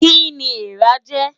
Kí ni eèrà ń jẹ?